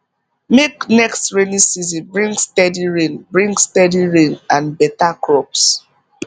make next rainy season bring steady rain bring steady rain and better crops